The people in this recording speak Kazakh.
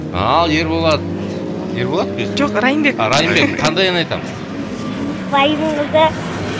ал ерболат ерболат қой есімі жоқ райымбек а райымбек қандай ән айтамыз байдың қызы